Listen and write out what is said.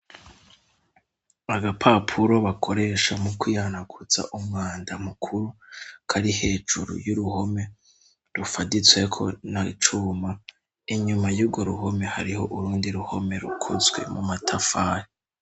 agapapuro bakoresha mu kwiyanakutsa umwanda mukuru kari hejuru y'uruhome rufaditsweko n'icuma inyuma y'ugo ruhome hariho urundi ruhome rukozwe mu matafari